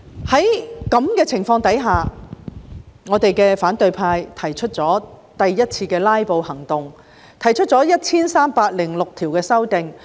在這情況下，反對派進行第一次"拉布"行動，提出了 1,306 項修訂。